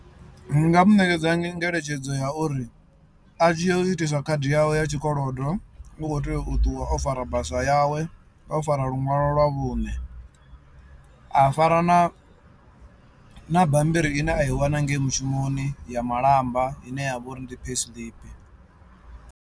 Ndi nga mu ṋekedza ngeletshedzo ya uri a tshi yo itisa khadi yawe ya tshikolodo u khou tea u ṱuwa o fara basa yawe, o fara luṅwalo lwa vhuṋe, a fara na na bammbiri ine a i wana ngei mushumoni ya malamba ine ya vho uri ndi payslip.